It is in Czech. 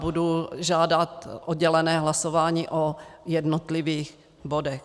Budu žádat oddělené hlasování o jednotlivých bodech.